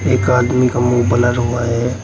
एक आदमी का मुंह ब्लर हुआ है।